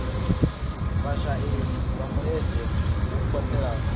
vhasheli vha mulenzhe hu katelwa